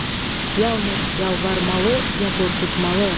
Yalnız yalvarmalı ya qorxutmalı?